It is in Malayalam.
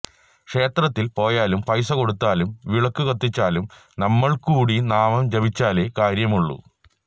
ക്ഷേത്രത്തില് പോയാലും പൈസ കൊടുത്താലും വിളക്കു കത്തിച്ചാലും നമ്മള്കൂടി നാമം ജപിച്ചാലേ കാര്യമുള്ളൂ